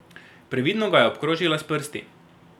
Previdno ga je obkrožila s prsti.